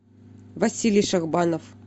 василий шахбанов